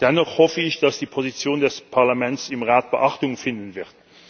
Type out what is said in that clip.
Dennoch hoffe ich, dass die Position des Parlaments im Rat Beachtung finden wird.